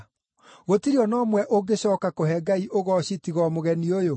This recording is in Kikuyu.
Gũtirĩ o na ũmwe ũngĩcooka kũhe Ngai ũgooci tiga o mũgeni ũyũ?”